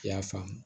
I y'a faamu